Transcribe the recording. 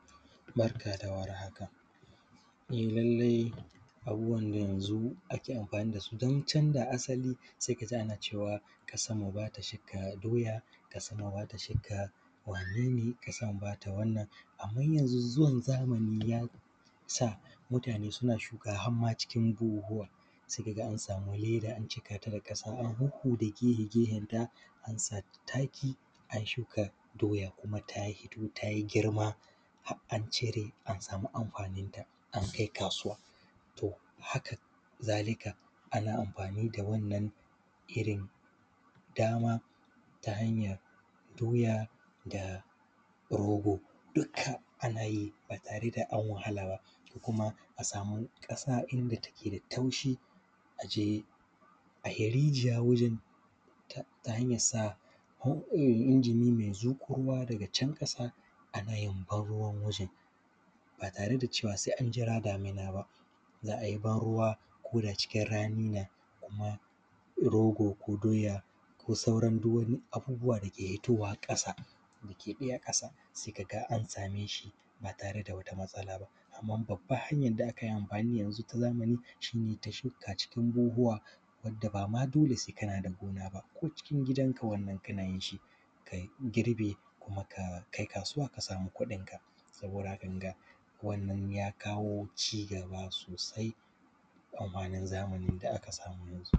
Barka da warhaka e lallai abubuwan na yanzu ake anfani da su din canja asali a sa ma shinkafa, doya amma yanzu zuwan zamani ya sa suna shuka har ma cikin buhuhuwa idan an sama leda, a cika ta da ƙasa, sai a huda gefe da gefe. Idan an sama taki, shukan doya ta yi girma har an cire ta, anfani da ita an kai kasuwa. To, haka zalika ana anfani da iri dama, ta hanyar daukan doya da rogo, dukka ana yi da su, ana sama ƙasa inda take da taushi, a je a yi rijiya wurinta ta hanyar inji me zuƙo ruwa, ko kuma da canƙasha, ana ban ruwa ba tare da cewa an jira damuna ba za a yi ban ruwa kuda cikin rani ne rogo ko doya ko sauran abubuwa da suke yi a ƙasa, sai ka ga an same shi ba tare da wata matsala ba.